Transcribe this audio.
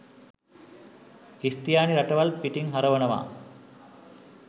ක්‍රිස්තියානි රටවල් පිටින් හරවනවා